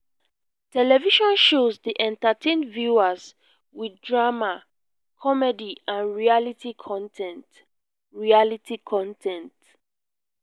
television shows dey entertain viewers with drama comedy and reality con ten t. reality con ten t.